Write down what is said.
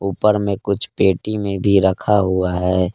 ऊपर में कुछ पेटी में भी रखा हुआ है।